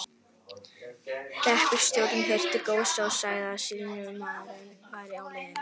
Hreppstjórinn hirti góssið og sagði að sýslumaðurinn væri á leiðinni.